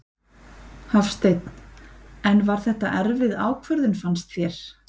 Hafsteinn: En var þetta erfið ákvörðun fannst þér?